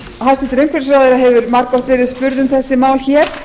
hæstvirtur umhverfisráðherra hefur margoft verið spurð um þessi mál hér